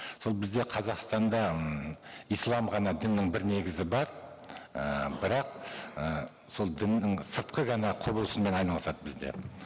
сол бізде қазақстанда ммм ислам ғана діннің бір негізі бар і бірақ і сол діннің сыртқы ғана құбылысымен айналысады бізде